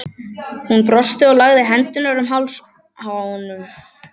Hún brosti og lagði hendurnar um háls honum.